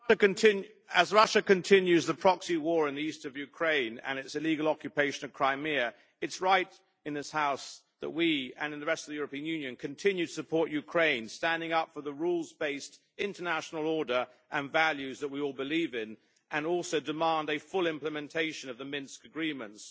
Madam President, as Russia continues the proxy war in the east of Ukraine and its illegal occupation of Crimea, it is right in this House that we and in the rest of the European Union continue to support Ukraine, standing up for the rules based international order and values that we all believe in, and also demand a full implementation of the Minsk agreements.